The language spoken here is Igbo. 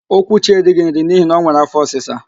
Okwuchi erighi nri n'ihi na o nwere áfọ́ ọsịsa.